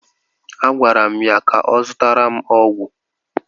A gwara m ya ka ọ zụtara m ọgwụ!